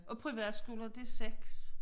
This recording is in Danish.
Og privatskolen det 6